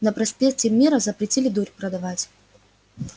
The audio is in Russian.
на проспекте мира запретили дурь продавать